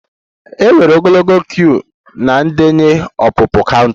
E nwere ogologo queue na ndenye ọpụpụ counter